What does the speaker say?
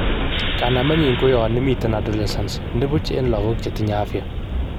Kanamenyin ko yon imiten adolescences nipuch en logok chetinye afya.